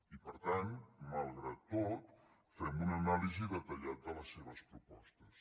i per tant malgrat tot fem una anàlisi detallada de les seves propostes